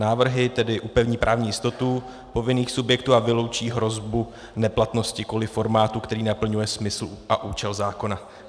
Návrhy tedy upevní právní jistotu povinných subjektů a vyloučí hrozbu neplatnosti kvůli formátu, který naplňuje smysl a účel zákona.